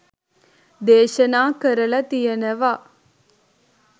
දේශනා කරලා තියෙනවා.